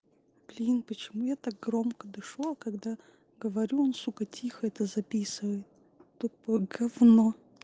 блин почему я так громко дышу а когда говорю он сука тихо это записывает такое говно